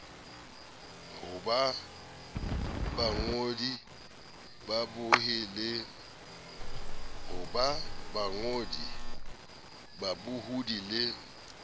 ho ba bangodi babohi le